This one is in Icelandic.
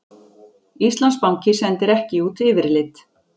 Íslandsbanki sendir ekki út yfirlit